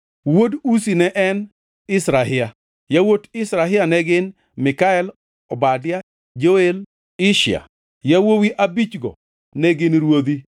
Wuod Uzi ne en: Izrahia. Yawuot Izrahia ne gin: Mikael, Obadia, Joel kod Ishia. Yawuowi abichgo ne gin ruodhi.